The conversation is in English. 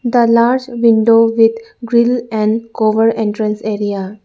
the large window with grill and cover entrance area.